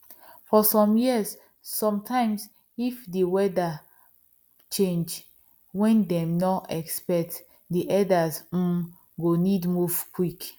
for some years sometimes if the weather change wen them nor expect the herders um go need move quick